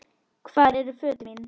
Hvar eru fötin mín?